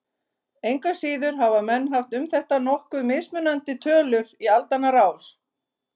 Engu að síður hafa menn haft um þetta nokkuð mismunandi tölur í aldanna rás.